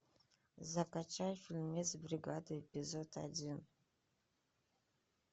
закачай фильмец бригада эпизод один